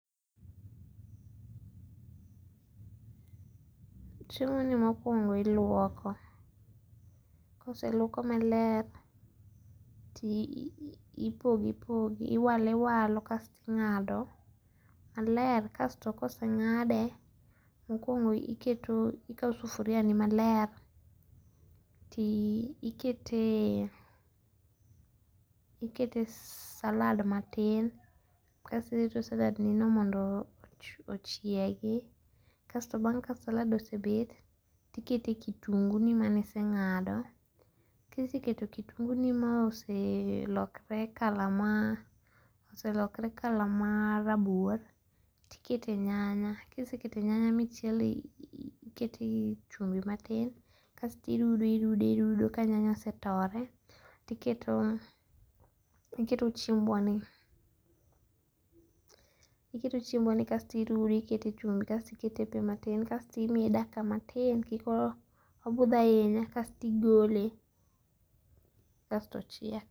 Chiemoni mokuongo iluoko, koseluoke maler to ipogo ipogo iwalo iwalo kasto inga'do maler kasto ka osenga'de mokuongo ikawo sufuriani maler ti ikete ikete salad matin kasto irito saladni no mondo ochiegi kasto bang' ka salad osebet tikete kitungunino mane isenga'do iseketo kitungunino ma oselokore colour maa oselokre cs]colour maar rabur to iketo nyanya kisekete nyanya ma isechielo iketo chumbi matin kasto irudo irudo ka nyanya osetore tiketo iketo chiembwani iketo chiembwani kasto irude kasto ikete e chumbi matin kasto imiye dakika matin kikobuth ahinya kasto igole kasto ochiek